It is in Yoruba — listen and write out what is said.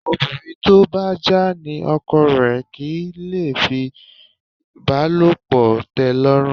Obìnrin tó bá já ní ọkọ rẹ̀ kì í lè fìbálòpọ̀ tẹ́lọ́rùn